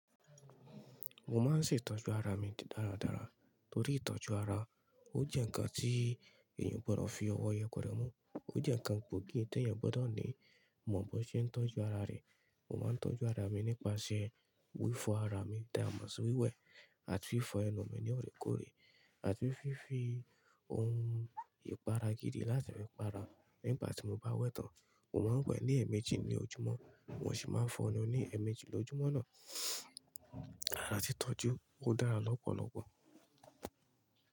Mo máa ń ṣe ìtọ́jú ara mi dáradára torí ìtọ́jú ara ó jẹ́ ǹkan tí èèyàn o gbọdọ̀ fi ọwọ́ yẹperẹ mú. Ó jẹ́ ǹkan gbòógì tí èèyàn gbọdọ̀ ní mọ̀ ọ́n bó ṣe ń tọ́jú ara rẹ̀. Mo máa ń tọ́jú ara mi nípasẹ̀ wífo ara mi dáààmọ́ sí wẹ́wẹ̀ àti wífo ẹnu mi ní ọ̀rẹ́kọ̀ọ̀rẹ́ àti fífi ohun ìpara gidi láti máa para nígbà tí mo bá wẹ tán. Mo máa ń wẹ ní ẹ̀ẹ̀mejì ní ojúmọ́, mo sì máa fọ ẹnu ní ẹ̀ẹ̀mejì lójoojúmọ́ náà. Ara ti tọ́jú ó dára lọ́pọ̀lọpọ̀.